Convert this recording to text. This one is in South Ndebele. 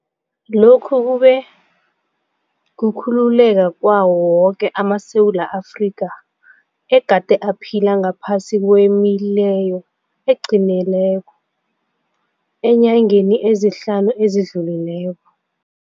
Lokhu kube kukhululeka kwawo woke amaSewula Afrika egade aphila ngaphasi kwemileyo eqinileko eenyangeni ezihlanu ezi dlulileko.